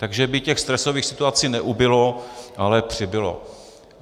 Takže by těch stresových situací neubylo, ale přibylo.